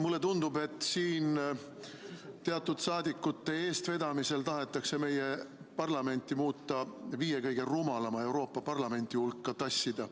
Mulle tundub, et teatud rahvasaadikute eestvedamisel tahetakse meie parlamenti viie kõige rumalama Euroopa parlamendi hulka vedada.